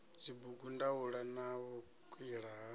dzibugu ndaula na vhukwila ha